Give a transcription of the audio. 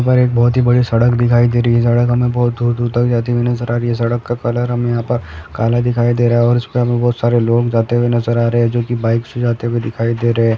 यहां पर एक बहुत ही बड़ी सड़क दिखाई दे रही है सड़क हमे बहुत दूर-दूर तक जाती हुई नजर आ रही है सड़क का कलर हमे यहां पर काला दिखाई दे रहा है और इसपर हमे बहुत सारे लोग जाते हुए नजर आ रहे है जो कि बाइक से जाते हुए दिखाई दे रहे है।